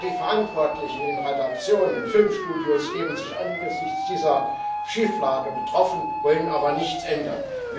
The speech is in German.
Denn die Verantwortlichen in Redaktionen und Filmstudios geben sich angesichts dieser Schieflage betroffen, wollen aber nichts ändern.